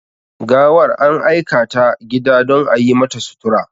Gawar an aikata gida don a yimata sutura.